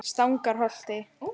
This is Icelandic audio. Stangarholti